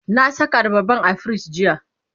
na Saka abarban a firij jiya